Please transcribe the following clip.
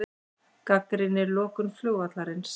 Gagnrýnir lokun flugvallarins